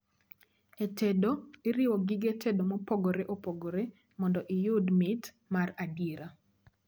e tedo, iriwo gige tedo mopogore opogore mondo iyud mit mar adiera